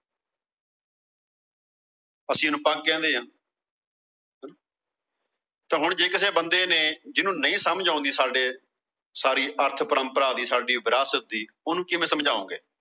ਅਸੀਂ ਇਹਨੂੰ ਪੱਗ ਕਹਿੰਦੇ ਆਂ ਤਾਂ ਹੁਣ ਜੇ ਕਿਸੇ ਬੰਦੇ ਨੇ, ਜੀਹਨੂੰ ਨਹੀਂ ਸਮਝ ਆਉਂਦੀ ਸਾਡੇ, ਸਾਰੀ ਅਰਥ ਪਰੰਪਰਾ ਦੀ, ਸਾਡੀ ਵਿਰਾਸਤ ਦੀ, ਉਹਨੂੰ ਕਿਵੇਂ ਸਮਝਾਉਂਗੇ।